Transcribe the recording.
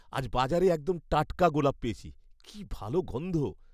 আজ বাজারে একদম টাটকা গোলাপ পেয়েছি। কি ভালো গন্ধ।